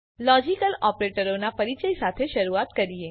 ચાલો લોજીકલ ઓપરેટરોનાં પરિચય સાથે શરૂઆત કરીએ